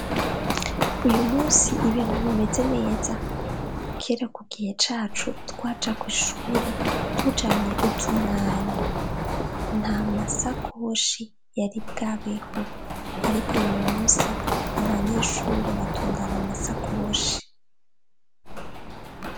Uyu musi ibintu bimeze neza kera kugihe cacu twaja kw'ishure tujanye utumwanyi nta masakoshi yari bwabeho ariko uyu musi abanyeshure batondana masakoshi.